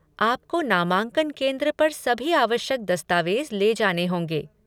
आपको नामांकन केंद्र पर सभी आवश्यक दस्तावेज ले जाने होंगे।